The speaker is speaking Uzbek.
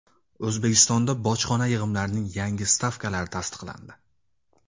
O‘zbekistonda bojxona yig‘imlarining yangi stavkalari tasdiqlandi.